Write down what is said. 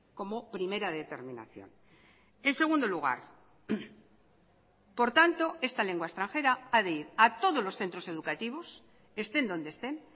como primera determinación en segundo lugar por tanto esta lengua extranjera ha de ir a todos los centros educativos estén donde estén